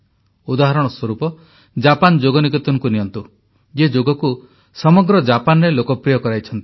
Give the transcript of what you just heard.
ଉଦାହରଣ ସ୍ୱରୂପ ଜାପାନ ଯୋଗ ନିକେତନକୁ ନିଅନ୍ତୁ ଯିଏ ଯୋଗକୁ ସମଗ୍ର ଜାପାନରେ ଲୋକପ୍ରିୟ କରାଇଛନ୍ତି